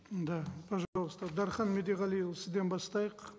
да пожалуйста дархан медеғалиұлы сізден бастайық